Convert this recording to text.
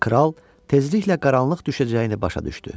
Kral tezliklə qaranlıq düşəcəyini başa düşdü.